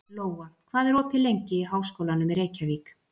Lóa, hvað er opið lengi í Háskólanum í Reykjavík?